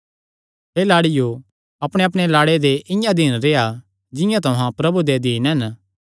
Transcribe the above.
हे लाड़ियो अपणेअपणे लाड़े दे इआं अधीन रेह्आ जिंआं तुहां प्रभु दे अधीन हन